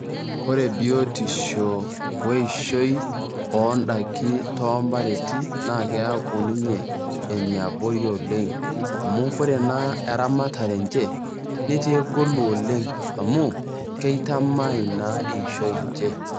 Ore biotisho we eishoi oo ndaiki too ompareti naake eaku ninye ene abori oleng' amu Kore naa eramatare enye netaa egolu oleng' amu keitamai naa eishoi enye.